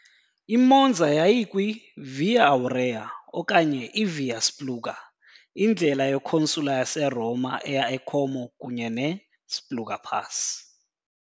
I-Monza yayikwi- "Via Aurea" okanye "i-Via Spluga", indlela ye-consular yaseRoma eya e-Como kunye ne-Spluga pass .